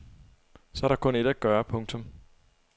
Så er der kun ét at gøre. punktum